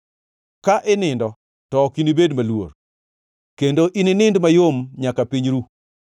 ka inindo, to ok inibed maluor, kendo ininind mayom nyaka piny ru.